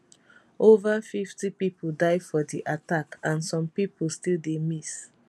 ova 50 pipo die for di attack and some pipo still dey miss